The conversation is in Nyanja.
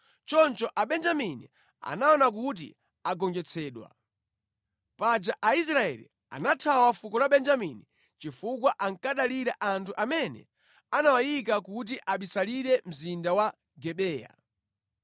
Choncho Abenjamini anaona kuti agonjetsedwa. Paja Aisraeli anathawa fuko la Benjamini chifukwa ankadalira anthu amene anawayika kuti abisalire mzinda wa Gibeya.